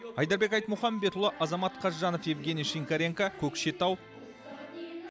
айдарбек айтмұхамбетұлы азамат қазжанов евгений шинкоренко көкшетау